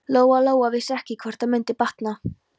Lóa Lóa vissi ekki hvort það mundi batna.